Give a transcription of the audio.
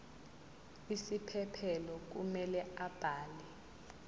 isiphephelo kumele abhale